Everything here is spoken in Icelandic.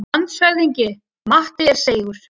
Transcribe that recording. LANDSHÖFÐINGI: Matti er seigur.